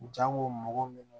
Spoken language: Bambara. Jango mɔgɔ min